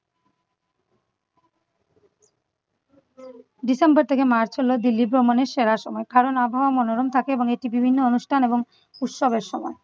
december থেকে march হল দিল্লি ভ্রমণের সেরা সময় কারণ আবহাওয়া মনোরম থাকে এবং এটি বিভিন্ন অনুষ্ঠান এবং উৎসবের সময়।